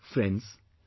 Friends,